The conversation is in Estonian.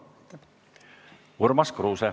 Urmas Kruuse.